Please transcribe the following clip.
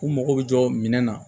U mago bɛ jɔ minɛn na